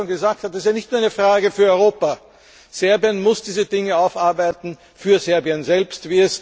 Wie Frau Koppa schon gesagt hat Es ist nicht nur eine Frage für Europa. Serbien muss diese Dinge aufarbeiten für Serbien selbst.